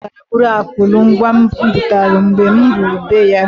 Ọ putara buru akụlu mgwa m butalụ, mgbe m ruru be ya.